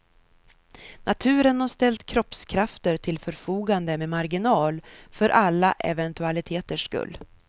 Naturen har ställt kroppskrafter till förfogande med marginal, för alla eventualiteters skull.